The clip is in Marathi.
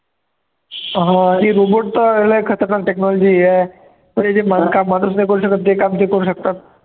हा ते robot तर लय खतरनाक technology आहे पण इथे म murders नाही करू शकत जे काम ते करू शकतात